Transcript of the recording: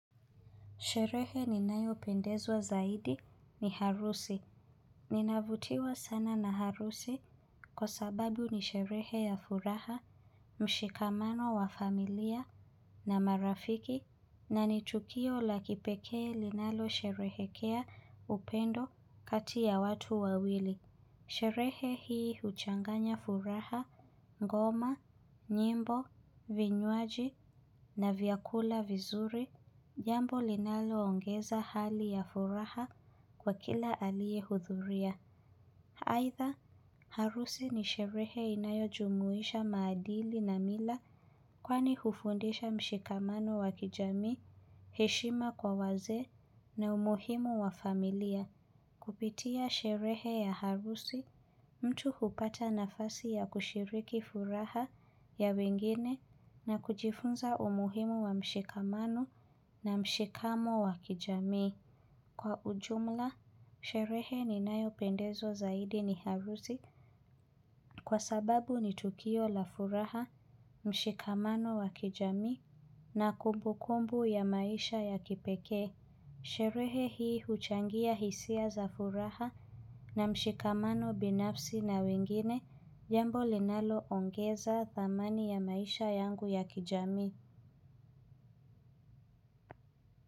Sherehe ninayopendezwa zaidi ni harusi. Ninavutiwa sana na harusi kwa sababu ni sherehe ya furaha, mshikamano wa familia na marafiki na ni tukio la kipekee linalo sherehekea upendo kati ya watu wawili. Sherehe hii huchanganya furaha, ngoma, nyimbo, vinywaji na viakula vizuri. Jambo linalo ongeza hali ya furaha kwa kila aliye hudhuria aidha, harusi ni sherehe inayo jumuisha maadili na mila. Kwani hufundisha mshikamano wa kijamii, heshima kwa wazee na umuhimu wa familia. Kupitia sherehe ya harusi, mtu hupata nafasi ya kushiriki furaha ya wengine na kujifunza umuhimu wa mshikamano na mshikamo wa kijamii. Kwa ujumla, sherehe ninayopendezwa zaidi ni harusi kwa sababu ni tukio la furaha, mshikamano wa kijami na kumbukumbu ya maisha ya kipekee. Sherehe hii huchangia hisia za furaha na mshikamano binafsi na wengine jambo linalo ongeza thamani ya maisha yangu ya kijamii.